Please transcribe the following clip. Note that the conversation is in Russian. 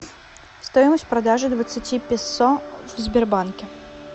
стоимость продажи двадцати песо в сбербанке